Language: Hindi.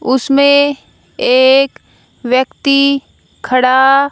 उसमें एक व्यक्ति खड़ा।